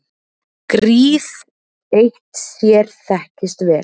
Gríð eitt sér þekkist vel.